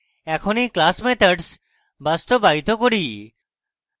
এখন এই class methods বাস্তবায়িত করি